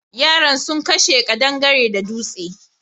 Yaran sun kashe ƙadangare da dutse.